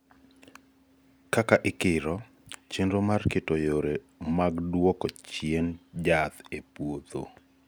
kaka ikiro , chenro mar keto yore mag duoko chien jaath e puotho